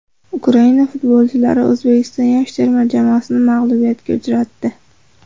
Ukraina futbolchilari O‘zbekiston yoshlar terma jamoasini mag‘lubiyatga uchratdi.